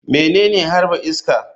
Menene harba iska?